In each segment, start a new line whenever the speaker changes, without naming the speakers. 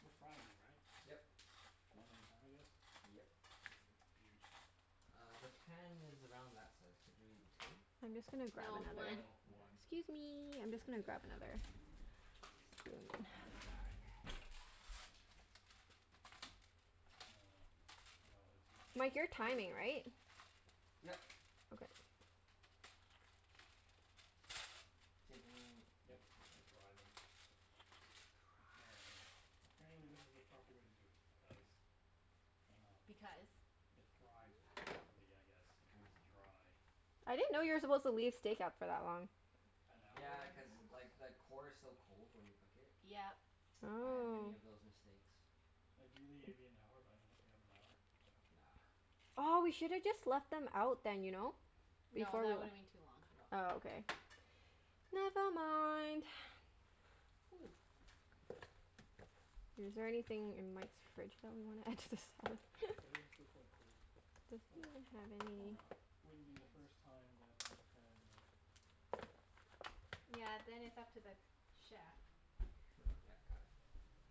We're frying them, right?
Yep.
One at a time, I guess?
Yep.
They're huge.
Uh, the pan is around that size. Could you two?
I'm just gonna grab
No,
another
one.
No,
Okay.
one.
Excuse me. I'm just
Sounds
gonna
good.
grab another spoon.
Die.
Uh, I might as well just use my
Mike, you're
hands
timing,
because
right?
Yep.
Okay.
Same thing?
Yep,
E- okay.
to dry them. Apparently
Dry.
apparently this is the proper way to do it because um
Because
it fries properly, I guess, if it's
Oh.
dry.
I
I
didn't know you were supposed
see.
to leave steak out for that long.
An hour
Yeah, cuz like the core is so cold when you cook it.
Yep.
I had many
Oh.
of those mistakes.
Ideally it'd be an hour, but I don't know if we have an hour, so
Nah.
Aw, we
No.
should have just left them out then, you know?
No,
Before
that
w-
would've been too long.
No.
Oh, okay. Never mind.
Ooh.
Is there anything in Mike's fridge that we wanna add to the salad?
Yeah, these are still quite cold.
Does
Oh
he
well.
even have
Warm
any
it up with
Wouldn't
my
be the first
hands.
time that I had a
Yeah, then it's up to the chef.
Sure,
Yep. Got it.
oh okay.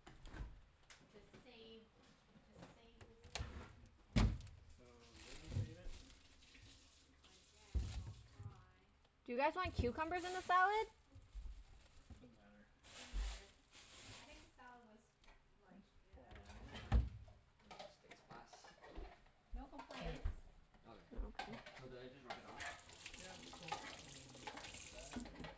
To save
Uh
to save the steak.
So, you're gonna save it?
I guess I'll try.
Do you guys want cucumbers in the salad?
Doesn't matter.
Doesn't matter. I think the salad was like,
Looks
i- I do- it was
fine.
fine.
Where's your steak spice?
No
Here.
complaints.
Okay.
Oh, okay.
Mm.
So do I just rub it on?
Yeah, coat in that I guess?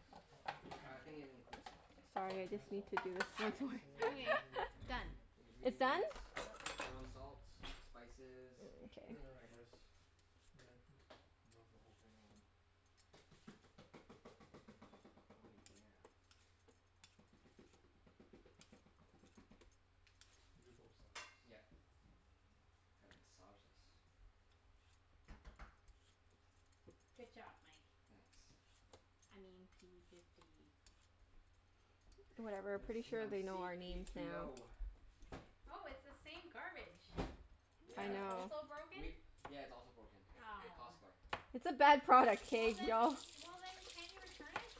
I think it includes salt.
Does
Sorry,
it
I just
have
need
salt
to
in
do
it?
this, that's why.
Anyway,
Seasoning.
Say
done.
It's in it.
It's done?
Ingredients.
Yep.
Ground salt. Spices.
Mm, k.
Sure, I
Peppers.
guess. Yeah, just rub the whole thing on.
Oh yeah.
And do both sides.
Yep.
I don't know.
Gotta massage this.
Good job, Mike.
Thanks.
I mean p fifty.
Whatever.
I'm
P
Pretty
s-
Diddy.
sure
I'm
they know
c
our
p
names
three
now.
o.
Oh, it's the same garbage.
I
That
Yeah.
is
know.
also broken.
We, yeah, it's also broken.
Ow.
Costco.
It's a bad product,
Well
k? We
then,
all
well then can't you return it?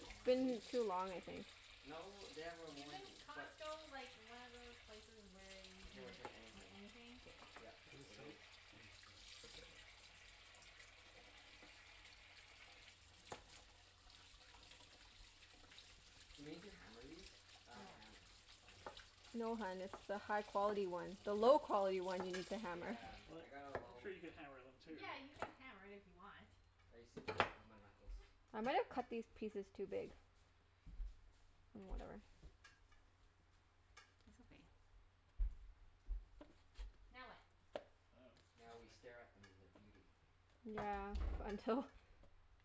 Can
Been
we?
too long, I think.
No, they have a
Isn't
warranty but
Costco like, one of those places where you
You can
can ret-
return
in
anything.
anything?
Yep,
Do you use
it
soap?
is.
I use soap.
Do we need to hammer these? I have a
No.
hammer. Okay.
No hun, it's the high quality one. The low
Oh.
quality one you need to hammer.
Yeah.
What?
I got a
I'm
low
sure you could hammer them too.
Yeah, you can hammer it if you want.
I used to beat it with my knuckles.
I might've cut these pieces too big. Oh, whatever.
That's okay. Now what?
I dunno.
Now we stare at them in their beauty.
Yeah, until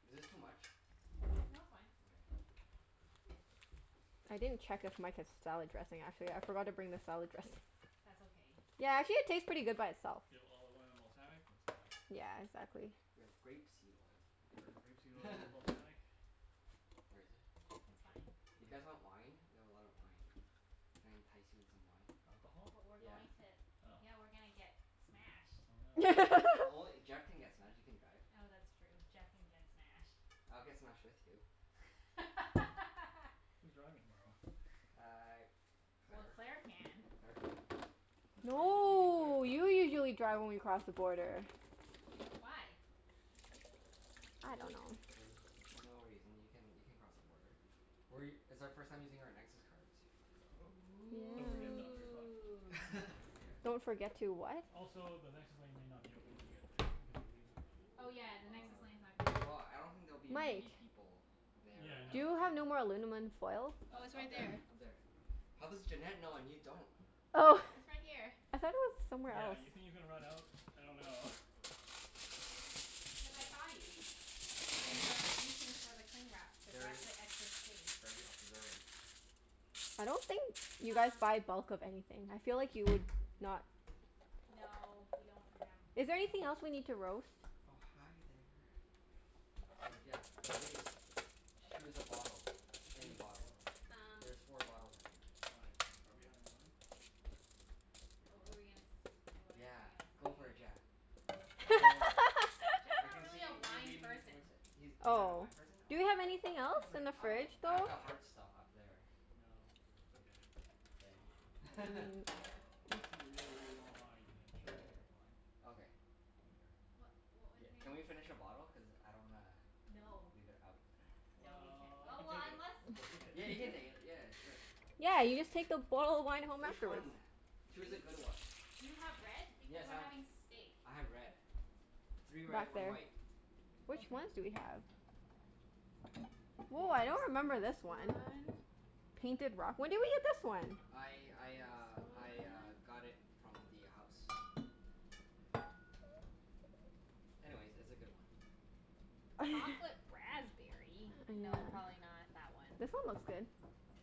Is this too much?
No, it's fine.
Okay. Cool.
I didn't check if Mike has salad dressing, actually. I forgot to bring the salad dressing.
That's okay.
Yeah, actually it tastes pretty good by itself.
You have olive oil and balsamic? That's enough.
Yeah, exactly.
We have grape seed oil.
Sure. Grape seed oil and balsamic.
Where is it? I'm not
It's fine.
sure. You guys want wine? We have a lot of wine. Can I entice you in some wine?
Alcohol?
But we're
Yeah.
going to
Oh.
Yeah, we're gonna get smashed.
Oh no.
No only, Jeff can get smashed. You can drive.
Oh, that's true. Jeff can get smashed.
I'll get smashed with you.
Who's driving tomorrow?
Uh,
Well,
Claire.
Claire can.
Claire can.
Whose car are you taki- you're taking Claire's
No,
car,
you
right?
usually
Yeah.
drive when we cross the border.
Why?
I don't
The-
know.
there's no reason. You can you can cross the border. We, it's our first time using our Nexus cards.
Oh. Don't forget them,
Yeah.
you're fucked.
Ooh.
Yeah.
Don't forget to what?
Also, the Nexus lane may not be open when you get there because you're leaving so early.
Oh yeah, the Nexus
Ah.
lane's not gonna be
Well,
open.
I don't think there'll be
Mike.
many people there
Yeah,
at
Do
no.
you
that time.
have no more alunamin foil?
Oh, it's
U- up
right
there.
there.
Up there. How does Junette know and you don't?
Oh!
It's right here.
I thought it was somewhere
Yeah,
else.
you think you're gonna run out? I dunno.
Because I
S-
saw you.
I see.
When you were reaching for the cling wrap to wrap
Very
the excess steak.
very observant.
I don't think you guys
Um
buy bulk of anything. I feel like you would not.
No, we don't have
Is there
room.
anything else we need to roast?
Oh, hi there. So yeah, please choose a bottle. Any
Choose a
bottle.
bottle.
Um
There's four bottles, I think.
Why? Are we having wine? We
What
are?
were we gonna s- what was I
Yeah, go for it
gonna say?
Jeff.
Oh.
Go.
Jeff's
I
not
can
really a
see you
wine
leaning
person.
towards it. He's he's not a
Oh.
wine person?
Do we
Oh.
have anything
I
else in
drink
the
I
fridge,
some,
I have
though?
but
the
like
hard stuff up there.
No, it's okay.
K.
Um
Unless you really, really want wine, then sure, I can drink wine.
Okay.
I don't care.
What what was
Yeah, can we
I
finish a bottle? Cuz I don't wanna
No.
leave it out.
No, we can't.
Well,
Oh,
we can
well
take it.
unless
We'll take
Yeah, you can
it.
take it. Yeah, sure.
Yeah, you just
Oh.
take the bottle of wine home
Which
afterwards.
one?
Do
Choose
you
a good one.
Do you have red? Because
Yes,
we're
I've,
having steak.
I have red. Three red,
Back
one
there.
white.
Which ones
Okay.
do we have? Woah, I don't remember this one. Painted Rock? When did we get this one?
I I uh
This
I uh
one.
got it from the house. Anyways, it's a good one.
Chocolate raspberry? No,
Yeah.
probably not that one.
This one looks good.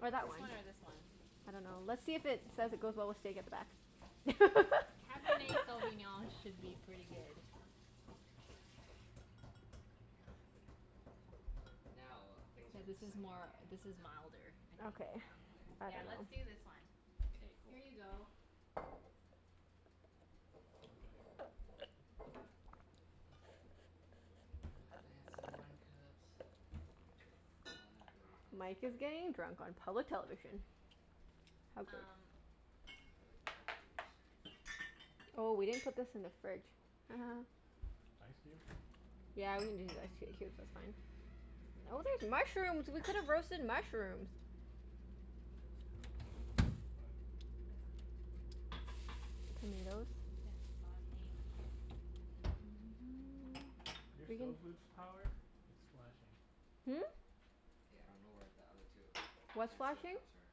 Or that one.
This one or this one?
I dunno. Let's see if it says it goes well with steak at the back.
Cabernet Sauvignon should be pretty good.
Now, things are
Yeah, this is
exciting.
more, this is milder, I think.
Okay. I
Yeah, let's
dunno.
do this one.
Okay. K, cool.
Here you go.
Okay.
My fancy wine cups. Oh, not really fancy
Mike is
really.
getting drunk on public television. How great.
Um
Oh, they're better cups.
Oh, we didn't put this in the fridge.
Shoot.
Ice cube?
Yeah, we needed ice c- cubes. That's fine. Oh, there's mushrooms. We could've roasted mushrooms.
Could still, but
That's okay.
Tomatoes.
You can sauté mushrooms.
Your
We can
stove lose power? It's flashing.
Hmm?
K, I don't know where the other two
What's
fancier
flashing?
cups are.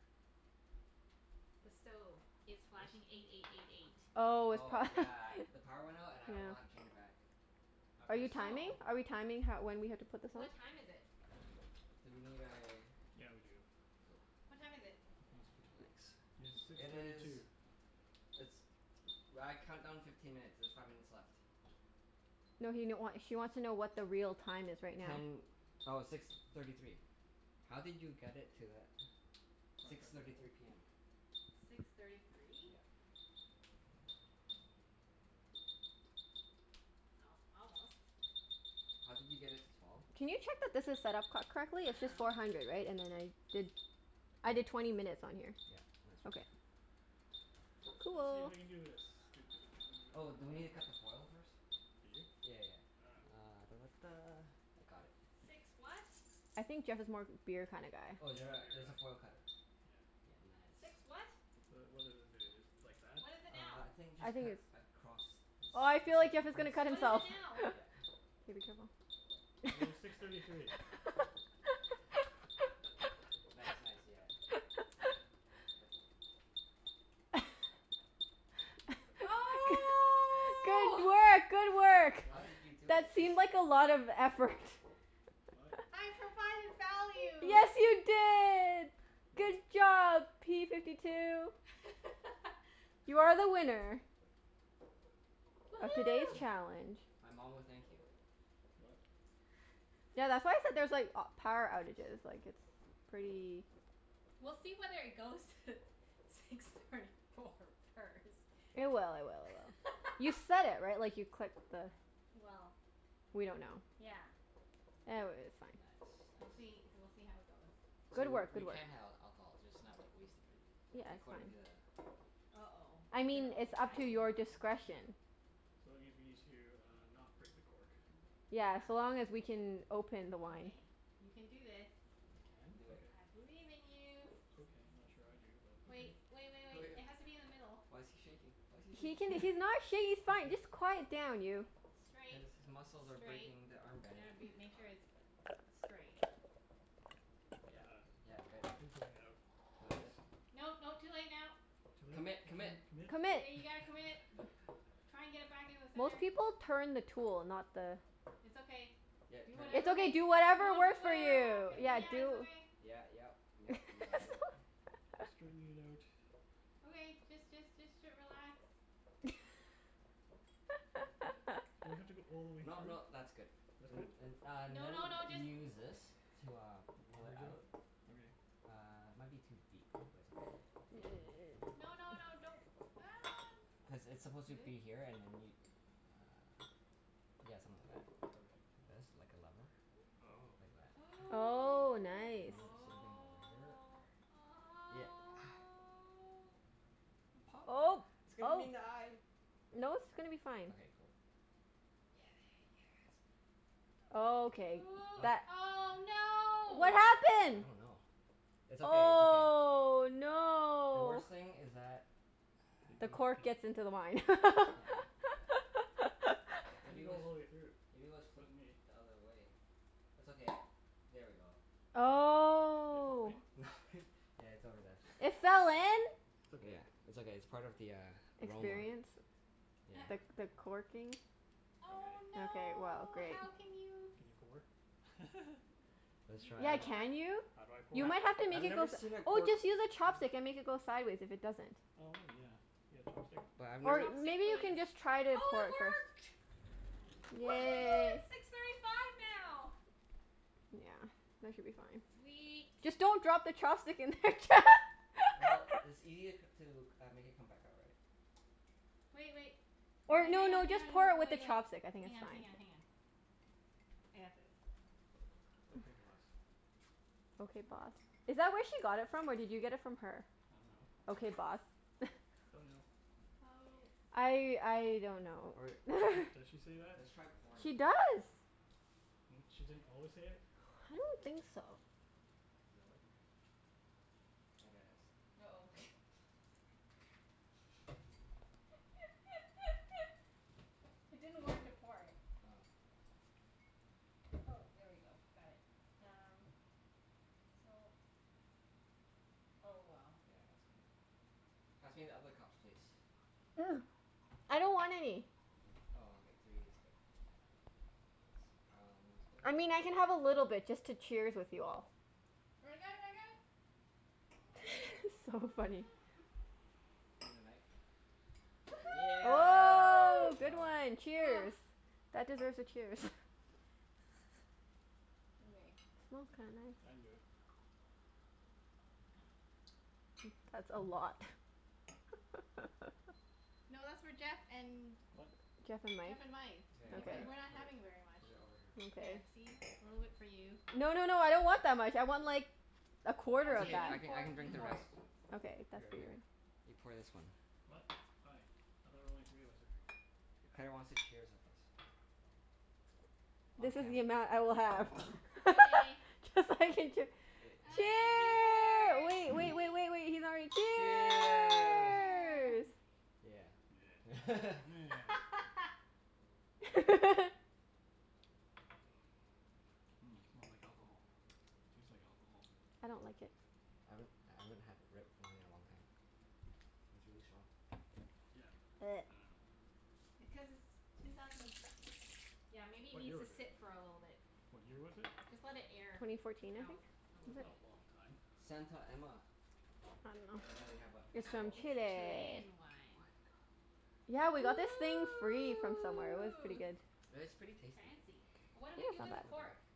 The stove. It's
This?
flashing eight eight eight eight.
Oh, it's
Oh,
pro-
yeah. The power went out and I don't know how to
Yeah.
change it back. I
Are you
press
timing?
Oh.
Are we timing ho- when we have to put this on?
What time is it?
Do we need a
Yeah, we do.
Cool.
What time is it?
Not a screw top.
Nice.
It's six
It
thirty two.
is it's, well, I count down fifteen minutes. There's five minutes left.
No he n- wa- she wants to know what the real time is right now.
Ten, oh, six thirty three. How did you get it to that?
Probably
Six
press and
thirty
hold?
three p m.
Six thirty three?
Yeah.
Oh, almost.
How did you get it to twelve?
Can you check that this is set up co-
I
correctly? It's just
dunno.
four hundred, right? And then I did, I did twenty minutes on here.
Yeah. Yeah. That's
Okay.
okay.
Let's see if
Cool.
I can do this. Doo doo doo doo doo.
Oh, do we need to cut the foil first?
Do you?
Yeah yeah yeah.
I dunno.
Ah da da da. I got it.
I think Jeff is more of a beer kinda guy.
Oh, is
Yeah,
there
I'm a
a,
beer
there's
guy.
a foil cutter.
Yeah.
Yeah, nice.
The, what does this do, just like that?
Uh, I think just
I think
cut
it's
across the
Oh, I
ci- the
feel like Jeff is
Oh,
gonna
circumference?
cut himself.
okay.
Yeah.
It was six
Yeah,
thirty three.
be
Nice,
careful.
nice. Yeah. There ya go. Careful.
G-
I don't know if I cut it right.
Oh!
good work! Good work!
How
What?
did you do it?
That
It
seemed
just
like a lot of effort.
What?
I provided value!
Yes, you did! Good
What?
job, p fifty two! You are the winner. Of today's
Woohoo!
challenge.
My mom will thank you.
What?
Tha- that's why I said there's like a- power
Nice.
outages, like it's pretty
We'll see whether it goes to six thirty four first.
It will, it will, it will. You set it, right? Like, you clicked the
Well
We don't know.
Yeah.
E- w- it's fine.
Nice,
We'll see,
nice.
we'll see how it goes.
So
Good
w-
work.
we
Good work.
can have alcohol, just not like, wasted, right?
Yeah, it's
According to
fine.
the
uh-oh.
I
It's an
mean,
old
it's up to
fashioned
your
one.
No.
discretion.
So it means we need to uh, not break the cork.
Yeah.
Yeah, so long as we can open the wine.
Okay. You can do this.
I can?
You can do it.
Okay.
I believe in you.
Okay. I'm not sure I do, but okay.
Wait, wait wait wait. It has to be in the middle.
Why's he shaking? Why's he
He can,
shaking?
he's not sha- he's
Let's
fine,
do this.
just quiet down, you.
Straight.
His his muscles are
Straight.
breaking the arm
You
band.
gotta be, make sure it's straight.
Yeah.
Ah,
Yeah, good.
and going
Oh,
outwards.
is it?
No, no. Too late now.
Too late?
Commit! Commit!
Commit? Commit?
Commit.
Yeah, you gotta commit. Try and get it back in the
Most
center.
people turn the tool, not the
It's okay.
Yeah, it
Do
turns.
It's
whatever
okay,
makes
do
you,
whatever
don't do, it
works for
won't
you.
happen.
Turn the
Yeah,
cork.
Yeah,
do
it's okay.
Yeah, yep, yep, you got it.
Straightening it out.
Okay, just just just t- relax.
Do I have to go all the way
No
through?
no, that's good.
That's
And
good?
and uh
No no
then
no,
you
just
use this to uh, pull it
Leverage out?
out.
Okay.
Uh, it might be too deep, but it's okay.
No no no, don't. Ah,
Cuz
n-
it's supposed to
Really?
be here and then you uh, yeah, something like that.
Okay.
This. Like a level.
Oh.
Like that.
Oh.
Oh,
And
nice.
then same thing over here.
Oh. Oh.
Yeah.
Oh,
Pop. It's gonna hit him
oh.
in the eye.
No, it's gonna be fine.
Okay, cool.
Oh, okay
Ooh.
What
that
Oh,
What
no!
I
happened?
don't know. It's okay. It's okay.
Oh,
The
no!
worst thing is that
It
The
goes
cork
in.
gets into the wine.
Yeah, how did that
I
Maybe
didn't
it
go
was,
all the way through.
maybe it was
This
flipped
wasn't
the
me.
other way? It's okay, I'll, there we go.
It fall
Oh.
in?
Yeah, it's over there.
It fell in?
It's okay.
Yeah. It's okay. It's part of the uh, aroma.
Experience?
Experience.
The
Yeah.
Sure.
the corking?
Okay.
Oh,
Okay, well
no!
great.
How can you
Can you pour?
Let's
You can
Yeah,
try.
pour.
can you? You
I
might have to make
I've
it go
never
s-
seen a
oh,
cork
just use a chopstick and make it go sideways if it doesn't.
Oh maybe, yeah. You got a chopstick?
But I've never
Or,
s-
Say
maybe you
please.
can just try to
Oh,
pour
it
it first.
work! Woohoo,
Yay!
it's six thirty five now!
Yeah, that should be fine.
Sweet.
Just don't drop the chopstick in there.
Well, it's ea- to c- uh, make it come back out, right?
Wait wait.
Or
Hang
no
hang on,
no, just
hang
pour
on
it
and
with the
wait wait.
chopstick. I think
Hang
it's
on,
fine.
hang on, hang on. I got this.
Okay boss.
Okay, boss. Is that where she got it from or did you get it from her?
I dunno.
Okay,
No.
boss?
Don't know.
Oh.
I I don't know
Or
or
Does she does she say that?
let's try pouring it
She
first.
does.
N- she didn't always say it?
I don't think so.
Does it work? At a s-
uh-oh. It didn't work to pour it.
Oh.
Oh, there we go. Got it.
Yeah.
Um, so Oh well.
Yeah, that's gonna Pass me the other cups, please.
I don't want any.
Oh, okay. Three is good. Thanks. That one is good?
I mean, I can have a little bit just to cheers with you all.
I got it, I got it.
So funny.
Need a knife?
Woohoo!
Oh,
Good
good
job.
one! Cheers! That deserves a cheers.
Okay.
Smells kinda
I
nice.
didn't do it.
Hmm, that's a lot.
No, that's for Jeff and
What?
Jeff and Mike.
Jeff and Mike.
K, I'll put
Because
it,
No.
we're
Okay.
not
put it,
having very much.
put it over here.
There,
Okay.
see? A little bit for you.
No no no, I don't want that much. I want like a quarter
It's
of
Okay,
okay.
you
I
that.
can I
pour it.
can
You
drink the
pour it.
rest.
Okay, that's
Here
for you.
here, you pour this one.
What? Hi. I thought only three of us were drinking.
Claire wants to cheers with us.
Oh.
On
This is
cam-
the amount I will have.
Okay.
Cuz I can chee-
Yay.
Okay,
Cheer, wait
cheers!
wait wait wait wait, he's not ready.
Cheers.
Cheers!
Cheer!
Yeah.
Yeah.
Meh. Mmm, smells like alcohol. Tastes like alcohol.
I don't like it.
I haven't, I haven't had red wine in a long time. It's really strong.
Yeah, I dunno.
Because it's two thousand Yeah, maybe it
What year
needs to
was it?
sit for a little bit.
What year was it?
Just let it air
Twenty fourteen, I
out.
think?
A
Is
little
That's
it?
bit.
not a long time.
Santa Emma.
I dunno.
And then we have a
It's from
little
It's
Chile.
Chilean wine.
Yeah, we got this thing free from somewhere. It was pretty
Ooh!
good.
It's pretty tasty.
Fancy. What do
Yeah,
we
it's
do
not
with the
bad.
cork?
Okay.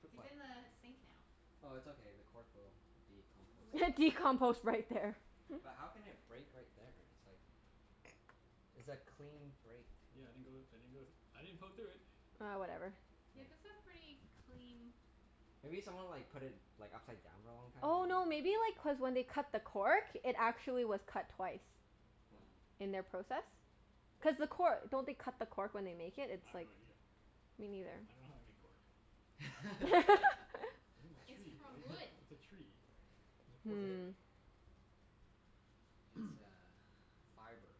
Fruit
It's
fly.
in the sink now.
Oh, it's okay. The cork will be composted.
What
Decompost right there.
But how can it break right there? It's like It's a clean break, too.
Yeah, I didn't go I didn't go thr- I didn't poke through it.
Ah, whatever.
Yeah,
Yeah.
this a pretty clean
Maybe someone like put it like upside down for a long time?
Oh, no maybe like cuz when they cut the cork it actually was cut twice.
What?
Oh.
In their process. Cuz the cor- don't they cut the cork when they make it?
I
It's
have no
like
idea.
Me neither.
I dunno how they make cork. It's in a
It's
tree,
from
right?
wood.
It's a tree. It's a
Is
cork tree.
it?
Hmm.
It's uh fiber.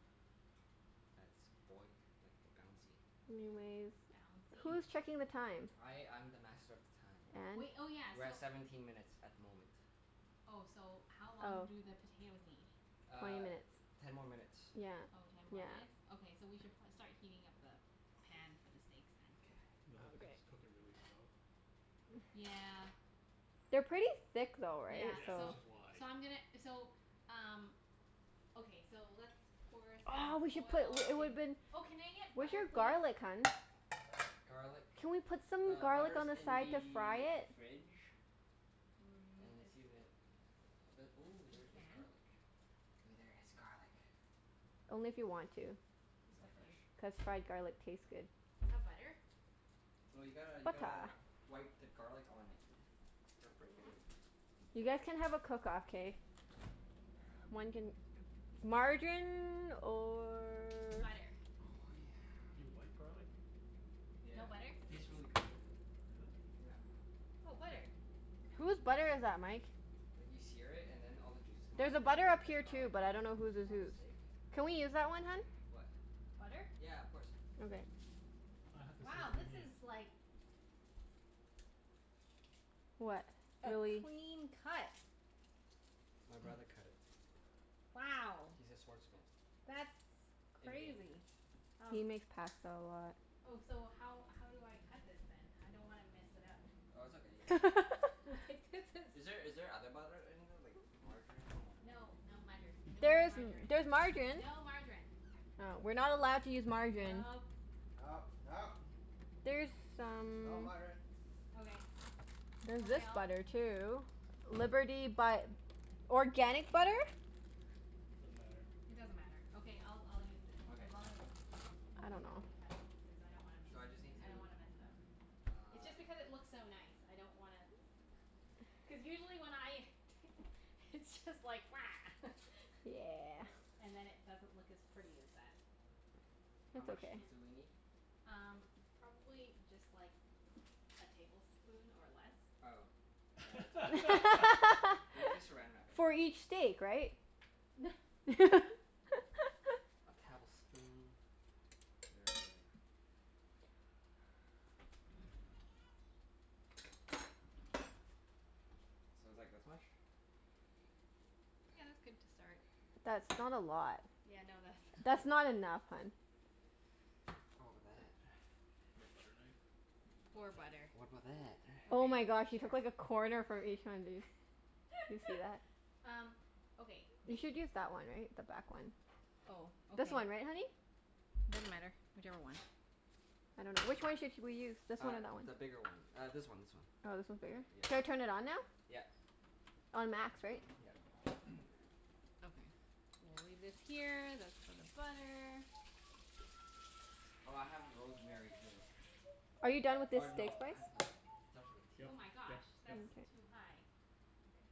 That's boy- like, bouncy.
Anyways.
Bouncy?
Who's checking the time?
I I'm the master of the time.
Wait,
And?
oh yeah,
We're
so
at seventeen minutes at the moment.
Oh, so how long
Oh.
do the potatoes need?
Twenty
Uh,
minutes.
ten more minutes.
Yeah.
Oh, ten more
Yeah.
minutes? Okay, so we should pro- start heating up the pan for the steaks, then.
K.
just cook it really slow.
Yeah.
They're pretty thick though, right?
Yeah,
Yeah,
So
so
which is why.
so I'm gonna, so um Okay, so let's pour
Oh, we
some
should put
oil
l- it
in
woulda been
Oh, can I get
Where's
butter
your
please?
garlic, hun?
Garlic,
Can we put some
the
garlic on
butter's
the
in
side to fry
the
it?
fridge.
Mm,
And
it's
see
too
if it, ooh,
We
there is
can.
garlic. Wait, there is garlic.
Only if you want to.
Is
Just
it
a few.
fresh?
Cuz fried garlic tastes good.
Do you have butter?
No, you gotta you gotta
Buttah.
wipe the garlic on it. Gotta break in.
You guys can have a cook off, k? One can, margarine or
Butter.
Oh yeah.
You wipe garlic?
Yeah.
No butter?
It tastes really good with it.
Really?
Yeah.
Oh, butter.
Whose butter is that, Mike?
Like, you sear it and then all the juices come out,
There's a
and then you
butter
wipe
up
the
here too,
garlic
but I
on
don't know whose is
on the
whose.
steak.
Can we use that one, hun?
What?
Butter?
Yeah, of course.
Okay.
I have to see what
Wow,
you
this
mean.
is like
What?
a
Really
clean cut.
My brother cut it.
Wow.
He's a sword smith.
That's
In game.
crazy. Um
He makes pasta a lot.
Oh, so how how do I cut this then? I don't wanna mess it up.
Oh, it's okay. You can
Like, this
Is there
is
is there other butter in there, like margarine or
No, no mutter. No
There is m-
margarine.
there's margarine.
No margarine.
Oh. We're not allowed to use margarine.
Nope.
No, no!
There's
Not
some
margarine.
Okay.
There's
Okay,
this
I'll
butter too. Liberty but organic butter?
Doesn't matter.
It doesn't matter. Okay, I'll I'll use this.
Okay,
As long
sounds
as
good.
you
I
can
don't know.
help me cut it. Because I don't wanna miss
So I just
n-
need
I don't
to
wanna mess it up. It's just
Uh.
because it looks so nice. I don't wanna Cuz usually when I t- it's just like
Yeah.
Uh.
And then it doesn't look as pretty as that.
How
That's
much
okay.
do do we need?
Um, probably just like a tablespoon, or less.
Oh, yeah, that's okay. We need to Saran Wrap it
For
anyway.
each steak, right?
A tablespoon. Sure. So it's like this much?
Yeah, that's good to start.
That's not a lot.
Yeah, no
That's
that's
not
not
enough, hun.
Oh, but that
You have butter knife? You could use
Poor
butter knife.
butter.
What about that?
Oh my gosh,
Okay,
you
sure.
took like a corner from each one, dude. Do you see that?
Um, okay
You
th-
should use that one, right? The back one.
Oh, okay.
This one, right honey?
It doesn't matter. Whichever one.
I dunno. Which one should sh- we use? This one
Uh,
or that one?
the bigger one. Uh, this one, this one.
Oh, this one's bigger?
Yeah,
Should
yeah.
I turn it on now?
Yeah.
On max, right?
Yeah.
Okay. We'll leave this here. That's for the butter.
Oh, I have rosemary too.
Are you done with this
Or
steak
no, I have
spice?
uh, starts with a t.
Oh
Yep
my gosh,
yep yep.
that's
Mkay.
too high. Okay.